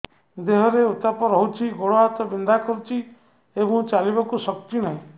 ଦେହରେ ଉତାପ ରହୁଛି ଗୋଡ଼ ହାତ ବିନ୍ଧା କରୁଛି ଏବଂ ଚାଲିବାକୁ ଶକ୍ତି ନାହିଁ